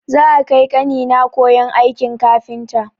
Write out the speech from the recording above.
Za'a kai ƙanina koyon aikin kafinta.